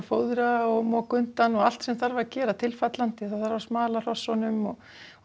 fóðra og moka undan og allt sem þarf að gera tilfallandi það þarf að smala hrossunum og